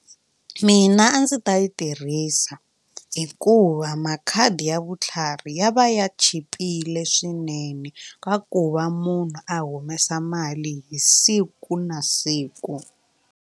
Mina a ndzi ta yi tirhisa hikuva makhadi ya vutlhari ya va ya chipile swinene ka ku va munhu a humesa mali hi siku na siku.